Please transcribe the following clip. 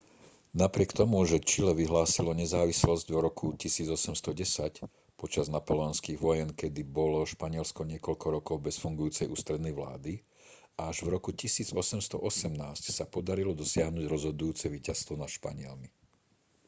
napriek tomu že čile vyhlásilo nezávislosť v roku 1810 počas napoleonských vojen kedy bolo španielsko niekoľko rokov bez fungujúcej ústrednej vlády až v roku 1818 sa podarilo dosiahnuť rozhodujúce víťazstvo nad španielmi